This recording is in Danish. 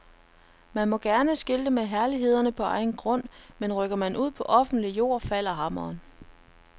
Man må gerne skilte med herlighederne på egen grund, men rykker man ud på offentlig jord falder hammeren.